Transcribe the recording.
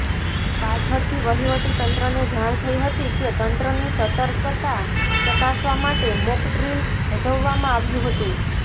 પાછળથી વહિવટી તંત્રને જાણ થઈ હતી કે તંત્રની સતર્કતા ચકાસવા માટે મોકડ્રીલ ભજવવામાં આવ્યું હતું